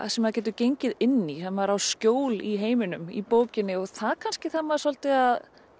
sem maður getur gengið inn í þar sem maður á skjól í heiminum í bókinni og það kannski þarf maður svolítið að